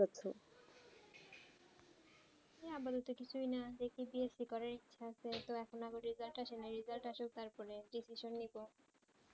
আমার তো কিছু ই না দেখি BSC করা ইচ্ছা আছে তো এখন আবার result আসি নি result আসোক তার পরে admission নিবো